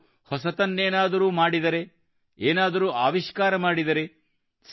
ನಾವು ಹೊಸದೇನಾದರೂ ಮಾಡಿದರೆ ಏನಾದರೂ ಆವಿಷ್ಕಾರ ಮಾಡಿದರೆ